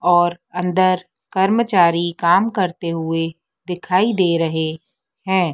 और अंदर कर्मचारी काम करते हुए दिखाई दे रहे हैं।